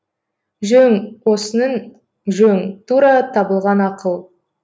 жөн осының жөн тура табылған ақыл